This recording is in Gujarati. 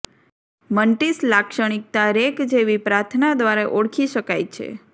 મન્ટિસ લાક્ષણિકતા રેક જેવી પ્રાર્થના દ્વારા ઓળખી શકાય છે